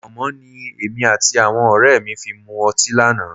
Pọ̀nmọ́ ni èmi àti àwọn ọ̀rẹ́ mi fi mu ọtí lánàá